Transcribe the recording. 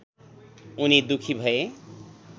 उनी दुःखी भए